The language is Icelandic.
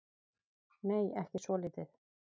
Nei, ekki svolítið.